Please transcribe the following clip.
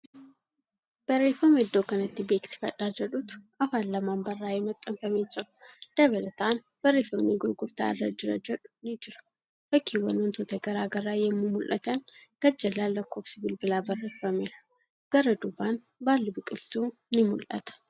Barreeffama iddoo kanatti beeksifadhaa jedhutu Afaan lamaan barraa'ee maxxanfamee jira. Dabalataan, barreeffamni gurgurtaa irra jirra jedhu ni jira. Fakkiiwwan wantoota garagaraa yemmuu mul'atan gadjallaan lakkoofsi bilbilaa barreefameera. Gara duubaan baalli biqiltuu ni mul'ata.